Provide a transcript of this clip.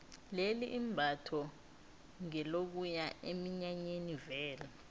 leli imbatho ngelokuya eminyanyeni vele